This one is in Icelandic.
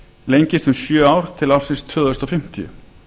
lengist um sjö ár til ársins tvö þúsund fimmtíu